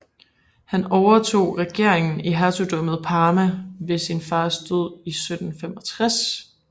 Han overtog regeringen i Hertugdømmet Parma ved sin fars død i 1765